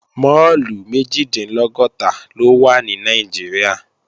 Máàlù méjìdínlọ́gọ́ta ló wà ní Nàìjíríà